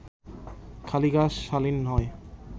খালি গা শালীন নয়